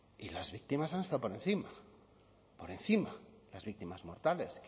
y las víctimas han estado por encima por encima las víctimas mortales